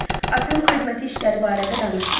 Atam xidməti işləri barədə danışmır.